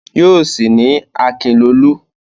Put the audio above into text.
Yóò sì ní Akinlolú.